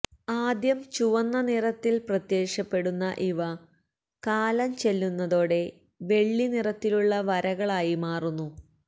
ആദ്യം ചുവന്ന നിറത്തിൽ പ്രത്യക്ഷപ്പെടുന്ന ഇവ കാലം ചെല്ലുന്നതോടെ വെള്ളി നിറത്തിലുള്ള വരകളായി മാറുന്നു